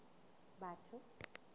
batho